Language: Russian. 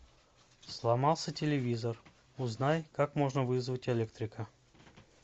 сломался телевизор узнай как можно вызвать электрика